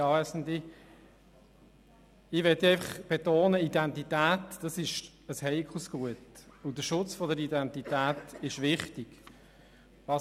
Ich möchte betonen, dass Identität ein heikles Gut und der Schutz der Identität wichtig ist.